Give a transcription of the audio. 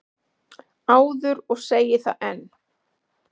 áður og segi það enn.